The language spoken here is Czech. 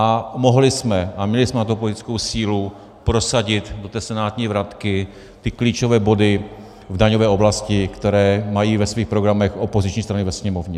A mohli jsme, a měli jsme na to politickou sílu, prosadit do té senátní vratky ty klíčové body v daňové oblasti, které mají ve svých programech opoziční strany ve Sněmovně.